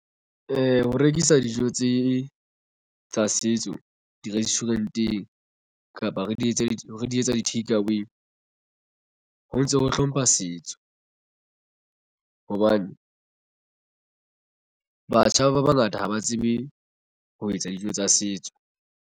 Ho rekisa dijo tse tsa setso di restaurant-eng kapa re di etse di re di etsa di-takeaway ho ntso ho hlompha setso hobane batjha ba bangata ha ba tsebe ho etsa dijo tsa setso.